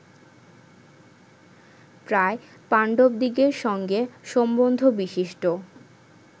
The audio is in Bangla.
প্রায় পাণ্ডবদিগের সঙ্গে সম্বন্ধবিশিষ্ট